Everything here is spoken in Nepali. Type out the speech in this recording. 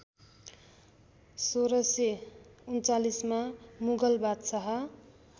१६३९मा मुगल बादशाह